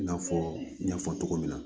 I n'a fɔ n y'a fɔ cogo min na